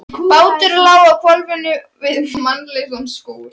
Bátur lá á hvolfi við mannlausan skúr.